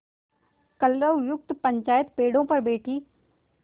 कलरवयुक्त पंचायत पेड़ों पर बैठी